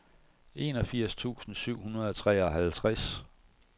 enogfirs tusind syv hundrede og treoghalvtreds